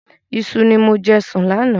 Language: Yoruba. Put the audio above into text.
Iṣu ni mo jẹ sùn láánaà